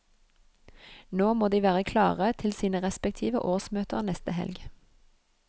Nå må de være klare til sine respektive årsmøter neste helg.